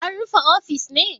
An rufe ofis ne?